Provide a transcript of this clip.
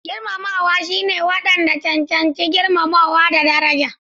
Girmamawa shine wanda ya cancanci girmamawa da daraja.